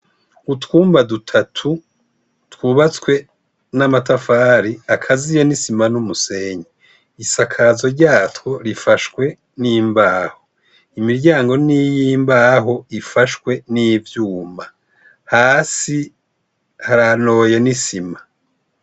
Utwumba dutatu twubatswe n'amatafari akaziyo n'isima n'umusenyi isakazo ryatwo rifashwe n'imbaho imiryango n'iy'imbaho ifashwe n'ivyuma hasi haranoye n'isima.